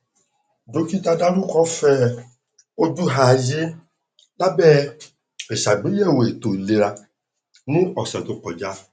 dókítà dárúkọ fẹ ojú ààyè lábẹ ìṣàgbéyẹwò ètò ìlera ní ọsẹ tó kọjá